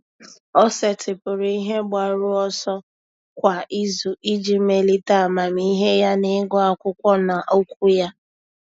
Ọ́ sètị́pụ̀rụ̀ ihe mgbaru ọsọ kwa ìzù iji melite amamihe ya n’ị́gụ́ ákwụ́kwọ́ na okwu ya.